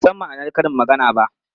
A'a, ban san ma'anar karin maganar ba.